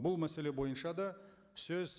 бұл мәселе бойынша да сөз